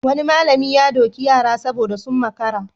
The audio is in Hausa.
Wani malami ya doki yara saboda sun makara.